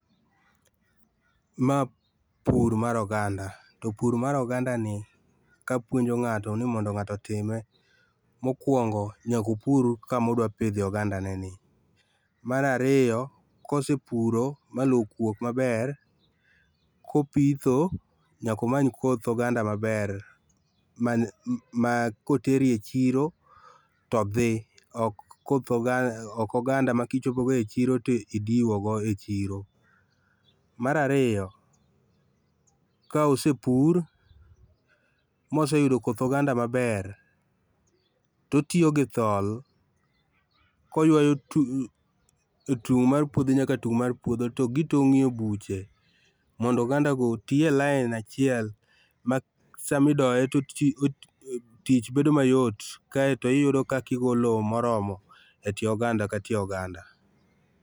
Ma pur mar oganda, to pur mar oganda ni kapuonjo ngato ni mondo ngato otime, mokuongo nyaka opur kama odwa pidhe oganda ne ni. Mar ariyo kosepuro ma loo okuok maber, kopitho nyaka omany koth oganda maber ma, ma kotero e chiro to dhi ok koth oganda ,ok oganda ma kitero o chiro to idiwo go e chiro. Mar ariyo ka osepur ma oseyudo koth oganda maber to otiyo gi thol koywayo tu, tung mar puodho nyaka tung mar puodho to ,togitongie buche mondo oganda go e otii e lain achiel ma sama idoye to oti tich bedo mayot kaito iyudo kaka igo lowo moromo e tie oganda ka tie oganda